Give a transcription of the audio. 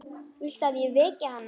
Viltu að ég veki hana?